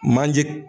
Manje